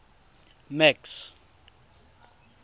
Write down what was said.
max